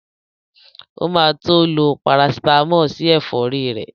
O ma tó lo Parasítámọ̀ sí ẹ̀fọ́rí ẹ̀